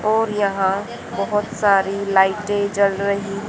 और यहां बहुत सारी लाइटे जल रही --